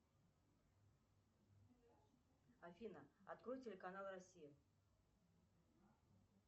афина открой телеканал россия